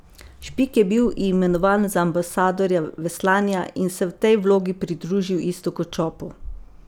Špik je bil imenovan za ambasadorja veslanja in se v tej vlogi pridružil Iztoku Čopu.